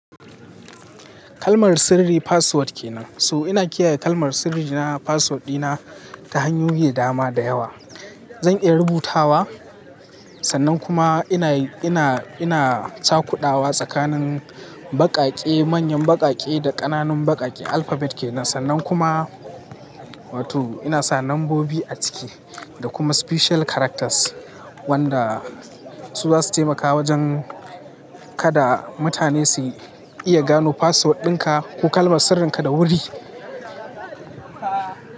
Kalmar sirri password ke nan. So ina kiyaye kalmar sirri na password dina ta hanyoyi da dama da yawa. Zan iya rubutawa, sannan kuma ina, ina, ina cakudawa tsakanin baƙaƙe, manyan baƙaƙe da ƙananun baƙaƙe alphabet ke nan. Sannan kuma wato ina sa lambobi a ciki da kuma special characters wanda su zasu taimakawa wajen kada mutane su iya gano password dinka ko kalmar sirrinka da wuri.